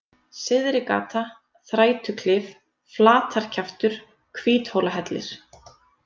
Syðrigata, Þrætuklif, Flatarkjaftur, Hvíthólahellir